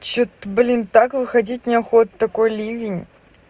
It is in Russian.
что-то блин так выходить неохота такой ливень